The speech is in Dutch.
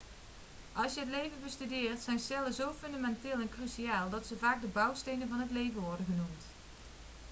als je het leven bestudeert zijn cellen zo fundamenteel en cruciaal dat ze vaak de bouwstenen van het leven' worden genoemd